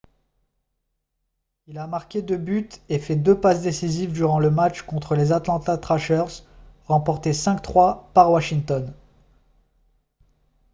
il a marqué 2 buts et fait 2 passes décisives durant le match contre les atlanta trashers remporté 5-3 par washington